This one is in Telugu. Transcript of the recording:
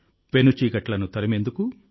పెను చీకట్లను తరిమేందుకు